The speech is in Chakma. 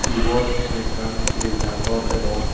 ibot mui ekkan grija gor degong.